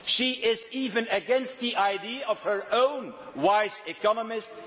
she is even against the idea of her own wise economists.